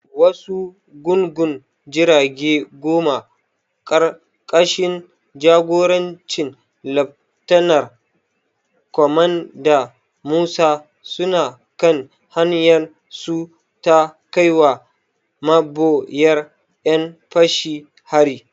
Wasu gungun jirage goma, ƙarƙashin jagorancin Laftanar Kwamanda Musa, suna kan hanyarsu ta kaiwa maboyar ƴan fashin hari.